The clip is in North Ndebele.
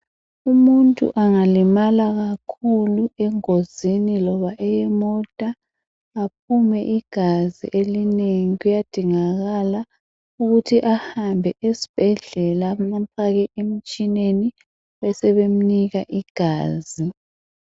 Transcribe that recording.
Umuntu angalimala kakhulu engozini loba eyemota aphume igazi elinengi kuyadingakala ukuthi ahambe esibhedlela bamfake emtshineni besebemnika igazi.